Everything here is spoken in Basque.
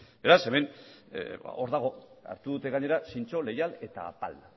beraz hemen hor dago hartu dute gainera zintzo leial eta apal